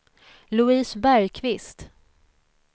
Louise Bergkvist